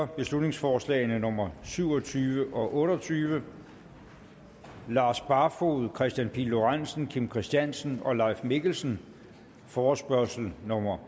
beslutningsforslag nummer syv og tyve og otte og tyve lars barfoed kristian pihl lorentzen kim christiansen og leif mikkelsen forespørgsel nummer